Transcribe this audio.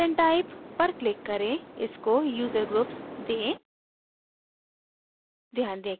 add content type पर click करें इसको user groups दें